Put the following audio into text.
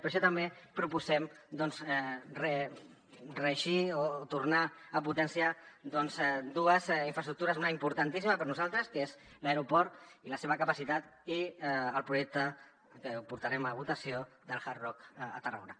per això també proposem reeixir o tornar a potenciar dues infraestructures una d’importantíssima per a nosaltres que és l’aeroport i la seva capacitat i el projecte que el portarem a votació del hard rock a tarragona